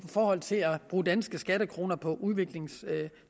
forhold til at bruge danske skattekroner på udviklingstiltag